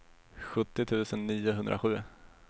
sjuttio tusen niohundrasju